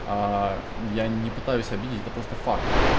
а я не пытаюсь обидеть это просто факт